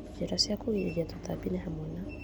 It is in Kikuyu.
Njĩra cia kĩgirĩria tũtambi nĩ hamwe na